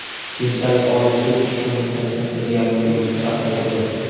Keyinchalik Oliy sud ushbu muddatni bir yarim yilga qisqartirdi.